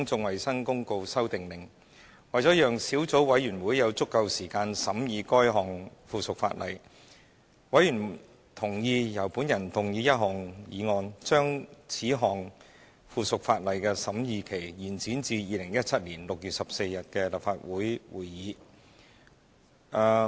為了讓小組委員會有足夠時間審議該項附屬法例，委員同意由我動議一項議案，把此項附屬法例的審議期延展至2017年6月14日的立法會會議。